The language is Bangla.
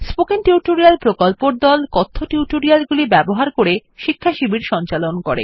স্পোকেন টিউটোরিয়াল প্রকল্পর দল কথ্য টিউটোরিয়াল গুলি ব্যবহার করে শিক্ষাশিবির সঞ্চালন করে